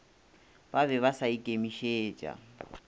ba be ba sa ikemišetša